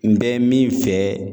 N bɛ min fɛ